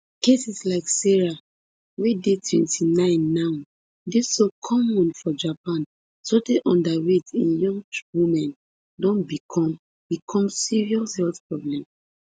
cases like sarah wey dey twenty-nine now dey so common for japan sotey underweight in young women don become become serious health problem